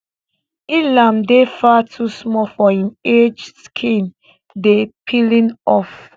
ilham dey far too small for im age skin dey peeling off